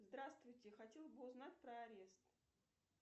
здравствуйте хотела бы узнать про арест